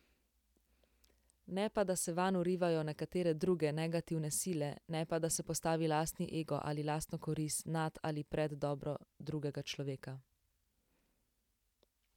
Ne pa da se vanj vrivajo nekatere druge, negativne sile, ne pa da se postavi lastni ego ali lastno korist nad ali pred dobro drugega človeka.